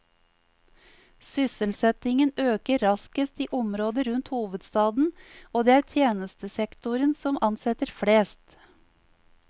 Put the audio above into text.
Sysselsettingen øker raskest i området rundt hovedstaden og det er tjenestesektoren som ansetter flest.